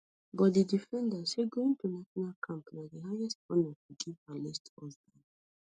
but di defender say going to national camp na di highest honour she give her late husband